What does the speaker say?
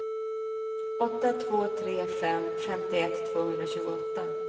åtta två tre fem femtioett tvåhundratjugoåtta